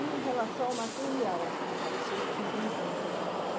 E em relação ao material assim que você utiliza no seu trabalho?